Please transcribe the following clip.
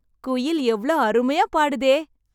குயில் எவ்ளோ அருமையா பாடுதே...